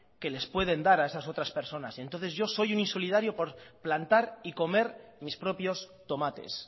que les pueden dar a esas otras personas entonces yo soy un insolidario por plantar y comer mis propios tomates